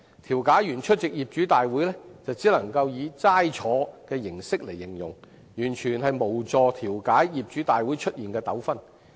調解員出席業主大會時只能以"齋坐"來形容，完全無助調解業主大會出現的糾紛。